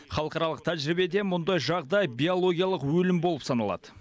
халықаралық тәжірибеде мұндай жағдай биологиялық өлім болып саналады